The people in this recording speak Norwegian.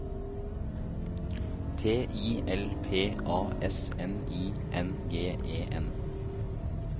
T I L P A S N I N G E N